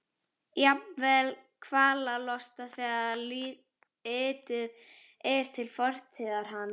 Jafnvel kvalalosta þegar litið er til fortíðar hans.